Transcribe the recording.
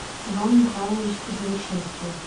иван михайлович завершинский